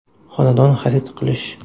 Xonadon xarid qilish.